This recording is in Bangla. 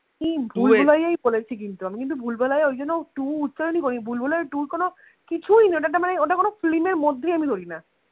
কি ভুলভুলাইয়া বলেছি কিন্তু আমি কিন্তু ভুলভুলাইয়া ওই জন্য two উচ্চারণই করিনি ভুলভুলাইয়া two কোনো কিছুই না ওটা তো মানে ওটা কোনো film এর মধ্যেই আমি ধরিনা